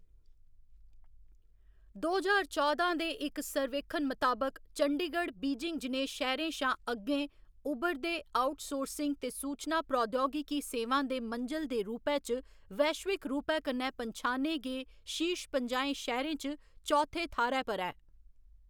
दो ज्हार चौदां दे इक सर्वेक्खन मताबक, चंडीगढ़ बीजिंग जनेह् शैह्‌‌‌रें शा अग्गें 'उभरदे आउटसोर्सिंग ते सूचना प्रौद्योगिकी सेवां दे मंजल दे रूपै च वैश्विक रूपै कन्नै पंछाने गे शीर्श पंजाहें शैह्‌‌‌रें च चौथे थाह्‌‌‌रै पर ऐ।